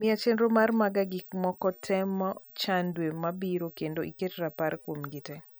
miya chenro mar mag gik moko te mo chan dwe mabiro kendo iket rapar kuomgi te